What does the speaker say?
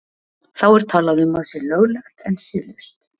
Þá er talað um að sé löglegt en siðlaust.